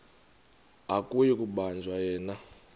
akuyi kubanjwa yena